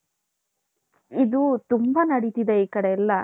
ಇದು ತುಂಬಾ ನಡೀತಿದೆ ಈ ಕಡೆ ಎಲ್ಲಾ .